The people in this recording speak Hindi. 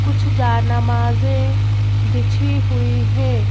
कुछ जा नमाजें बिछी हुई हैं।